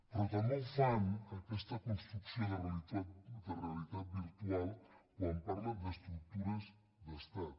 però també fan aquesta construcció de realitat virtual quan parlen d’estructures d’estat